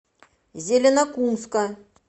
зеленокумска